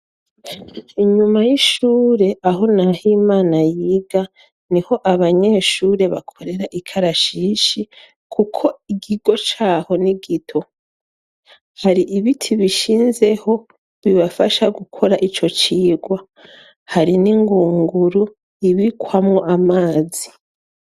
Inyuma y'ishure aho Nahimana yiga ni ho abanyeshure bakorera ikarashishi kuko ikigo caho ni gito. Hari ibiti bishinzeho bibafasha gukora ico cigwa hari n'ingunguru ibikwamo amazi.